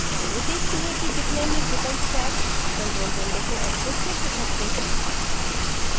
आगे देखते हैं कि bitnami drupal stack control window को access कैसे करते हैं